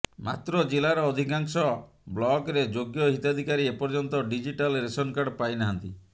ମାତ୍ର ଜିଲ୍ଲାର ଅଧିକାଂଶ ବ୍ଲକରେ ଯୋଗ୍ୟ ହିତାଧିକାରୀ ଏପର୍ଯ୍ୟନ୍ତ ଡିଜିଟାଲ ରେସନ କାର୍ଡ ପାଇ ନାହାନ୍ତି